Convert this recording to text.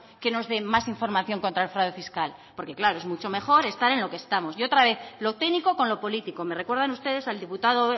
que nos dé más información contra el fraude fiscal porque claro es mucho mejor estar en lo que estamos y otra vez lo técnico con lo político me recuerdan ustedes al diputado